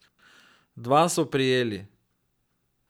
Dva so prijeli.